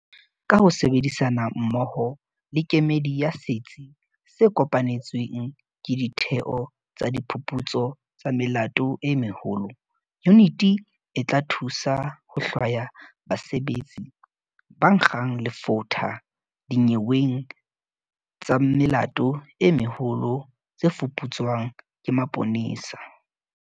Ka ho sebedisana mmoho le kemedi ya Setsi se Kopanetsweng ke Ditheo tsa Diphuputso tsa Melato e Meholo, yuniti e tla thusa ho hlwaya basebetsi ba nkgang lefotha dinyeweng tsa melato e meholo tse fuputswang ke maponesa.